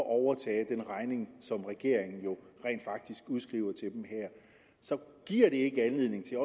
at overtage den regning som regeringen rent faktisk udskriver til dem her så giver det ikke anledning til